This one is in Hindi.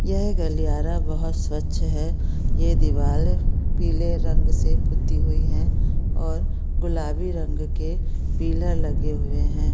यह गलियारा बहुत स्वत्छ है यह दिवार पीले रंग से पुती हुई है और गुलाबी रंग के पिलर लगे हुए हैं।